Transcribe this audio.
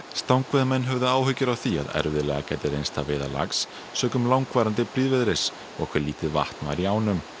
stangveiðimenn höfðu áhyggjur af því að erfitt gæti reynst að veiða lax sökum langvarandi og hve lítið vatn væri í ánum